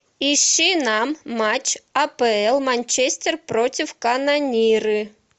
ищи нам матч апл манчестер против канониры